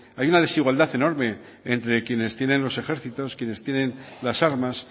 hay una desigualdad enorme entre quienes tienen los ejércitos quienes tienen las armas